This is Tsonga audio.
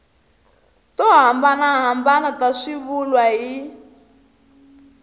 to hambanahambana ta swivulwa hi